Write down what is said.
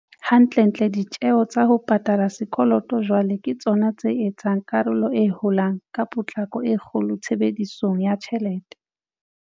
Hantlentle, ditjeo tsa ho pa tala sekoloto jwale ke tsona tse etsang karolo e holang ka potlako e kgolo tshebedisong ya tjhelete.